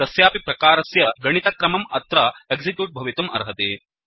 कस्यापि प्रकारस्य गणितक्रमम् अत्र एक्सिक्यूट् भवितुम् अर्हति